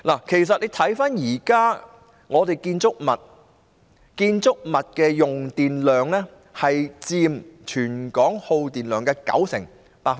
其實大家看看香港現時的建築物，其用電量佔全港耗電量的九成。